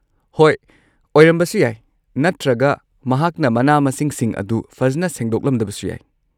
ꯍꯣꯏ, ꯑꯣꯏꯔꯝꯕꯁꯨ ꯌꯥꯏ ꯅꯠꯇ꯭ꯔꯒ ꯃꯍꯥꯛꯅ ꯃꯅꯥ-ꯃꯁꯤꯡꯁꯤꯡ ꯑꯗꯨ ꯐꯖꯅ ꯁꯦꯡꯗꯣꯛꯂꯝꯗꯕꯁꯨ ꯌꯥꯏ꯫